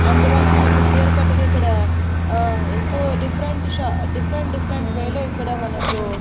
అందువల్ల మనకు క్లియర్ కట్గా ఇక్కడ ఆ ఎక్కువ డిఫరెంట్ షా డిఫరెంట్ డిఫరెంట్ వేలో ఇక్కడ మనకు--